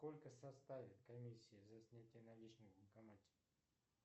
сколько составит комиссия за снятие наличных в банкомате